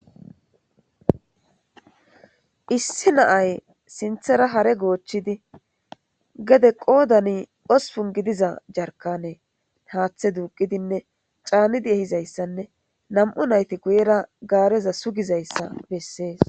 Issi naay sinthera hare goochchidi gede qoodani ospun gidiza jarkane haaththe duuqidinne caanidi ehizayssanne nam'u nayti guyera gaareza sugizayssa bessees.